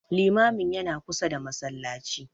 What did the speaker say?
Limamin yana kusa da Masallaci